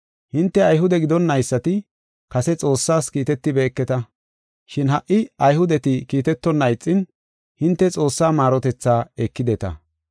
Hinte Ayhude gidonnaysati kase Xoossaas kiitetibeketa. Shin ha77i Ayhudeti kiitetonna ixin, hinte Xoossaa maarotethaa ekideta.